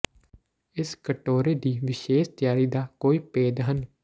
ਇਸ ਕਟੋਰੇ ਦੀ ਵਿਸ਼ੇਸ਼ ਤਿਆਰੀ ਦਾ ਕੋਈ ਭੇਦ ਹਨ